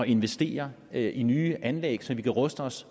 investere penge i nye anlæg så vi kan ruste os